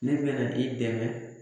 Ne bɛna i dɛmɛ